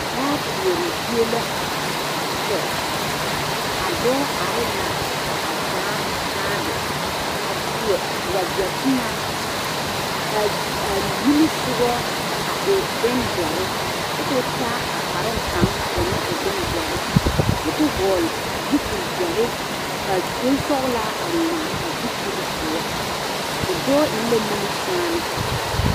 dãã koɔre zie la a kyɛ a dɔɔ are la a taa baage a seɛ wagyɛ boma kaa a nimisogɔ a e bondɔre kyɛ koo taa a kparoo kang ka o meng e bongdɔre kyɛ koo vɔgle zupili dɔre ka bonsɔglaa ngmaa a zupili poɔ a dɔɔ eng la nimi kyaane